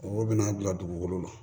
Mɔgɔw bɛna bila dugukolo la